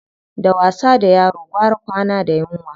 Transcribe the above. Da wasa da yaro gwara kwana da yunwa.